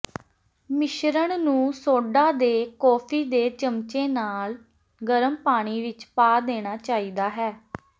ਮਿਸ਼ਰਣ ਨੂੰ ਸੋਡਾ ਦੇ ਕੌਫੀ ਦੇ ਚਮਚੇ ਨਾਲ ਗਰਮ ਪਾਣੀ ਵਿੱਚ ਪਾ ਦੇਣਾ ਚਾਹੀਦਾ ਹੈ